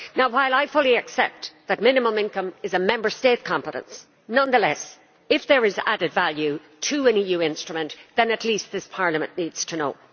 While I fully accept that minimum income is a Member State competence, nonetheless, if there is added value to an EU instrument, then at least Parliament needs to know.